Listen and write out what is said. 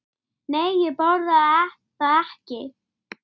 Þá var ég þrettán ára.